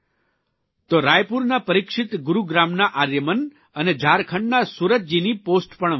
તો રાયપુરના પરિક્ષીત ગુરૂગ્રામના આર્યમન અને ઝારખંડના સુરતજીની પોષ્ટ પણ વાંચવા મળી